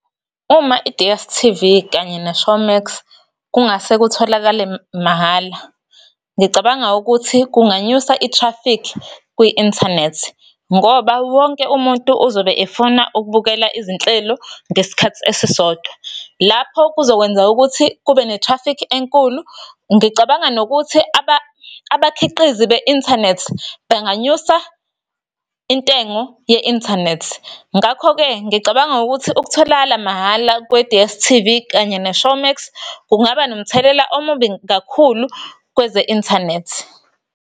Uma i-D_S_T_V, kanye ne-Showmax kungase kutholakale mahhala, ngicabanga ukuthi kunganyusa i-traffic, kwi-inthanethi. Ngoba wonke umuntu uzobe efuna ukubukela izinhlelo ngesikhathi esisodwa, lapho kuzokwenza ukuthi kube ne-traffic enkulu. Ngicabanga nokuthi abakhiqizi be-inthanethi benganyusa intengo ye-inthanethi. Ngakho-ke, ngicabanga ukuthi ukutholakala mahhala kwe-D,_S_T_V, kanye ne-Showmax, kungaba nomthelela omubi kakhulu kweze-inthanethi.